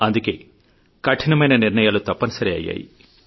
అందుకే కఠినమైన నిర్ణయాలు తప్పనిసరి అయ్యాయి